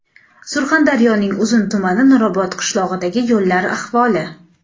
Surxondaryoning Uzun tumani Nurobod qishlog‘idagi yo‘llar ahvoli .